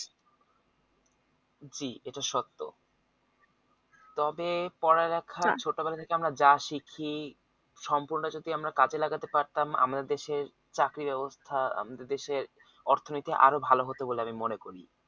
জি এটা সত্য তবে পড়ালেখা ছোটবেলা থেকে আমরা যা শিখি সম্পূর্ণ যদি আমরা কাজে লাগাতে পারতাম আমাদের দেশের চাকরি ব্যাবস্থা আমাদের দেশের অর্থনীতি আরো ভালো হতো বলে আমি মনে করি